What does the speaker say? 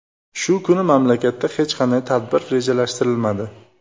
Shu kuni mamlakatda hech qanday tadbir rejalashtirilmadi.